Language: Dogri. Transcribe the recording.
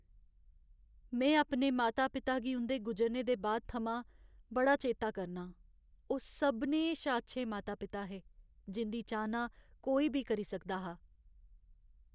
में अपने माता पिता गी उं'दे गुजरने दे बाद थमां बड़ा चेता करनां। ओह् सभनें शा अच्छे माता पिता हे, जिं'दी चाह्ना कोई बी करी सकदा हा।